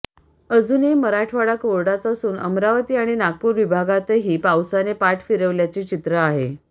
अजूनही मराठवाडा कोरडाच असून अमरावती आणि नागपूर विभागातही पावसाने पाठ फिरवल्याचे चित्र आहे